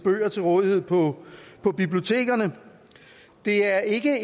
bøger til rådighed på bibliotekerne det er ikke